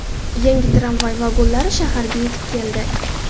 Yangi tramvay vagonlari shaharga yetib keldi.